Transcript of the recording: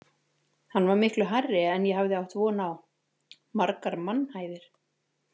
Hann var miklu hærri en ég hafði átt von á, margar mannhæðir.